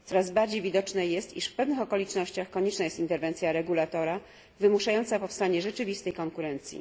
Coraz bardziej widoczne jest, iż w pewnych okolicznościach konieczna jest interwencja regulatora wymuszająca powstanie rzeczywistej konkurencji.